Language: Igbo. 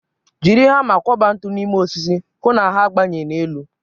Jiri hama kwọba ntu n'ime osisi, hụ na ha na-agbanye n'elu.